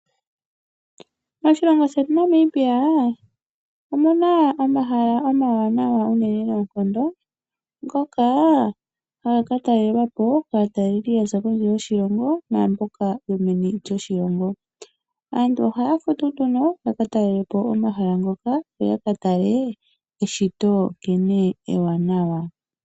Moshilongo shetu Namibia omuna omahala omawanawa unene noonkondo ngoka haga katalelwa po kaataleli ya za kondje yoshilongo naamboka yo meni lyoshilongo. Aantu ohaya futu nduno yakatalele po omahala ngoka yo yakatale eshito nkene ewanawa.